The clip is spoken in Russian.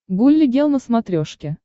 гулли гел на смотрешке